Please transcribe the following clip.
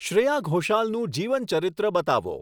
શ્રેયા ઘોષાલનું જીવનચરિત્ર બતાવો